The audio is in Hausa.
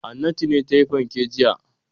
Hannatu ce ta sayi fanke jiya.